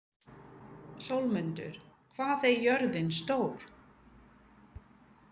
Sölmundur, hvað er jörðin stór?